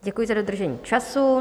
Děkuji za dodržení času.